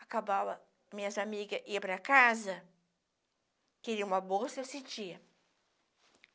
Acabava, minhas amigas iam para casa, queriam uma bolsa, eu sentia.